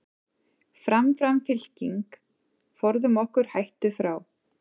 Fram, fram fylking, forðum okkur hættu frá.